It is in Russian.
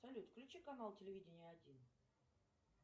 салют включи канал телевидения один